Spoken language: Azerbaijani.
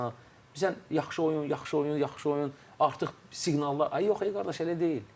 Bizə yaxşı oyun, yaxşı oyun, yaxşı oyun, artıq siqnallar ay yox e qardaş, elə deyil.